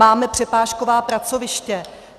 Máme přepážková pracoviště.